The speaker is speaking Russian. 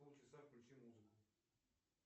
полчаса включи музыку